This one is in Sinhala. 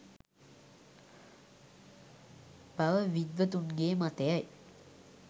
බව විද්වතුන්ගේ මතයයි